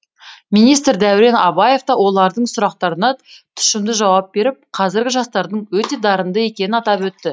министр дәурен абаев та олардың сұрақтарына тұшымды жауап беріп қазіргі жастардың өте дарынды екенін атап өтті